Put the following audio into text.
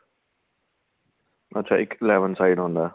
ਅੱਛਾ ਇੱਕ eleven side ਹੁੰਦਾ